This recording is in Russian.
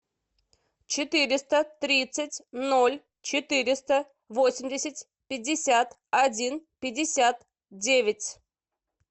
четыреста тридцать ноль четыреста восемьдесят пятьдесят один пятьдесят девять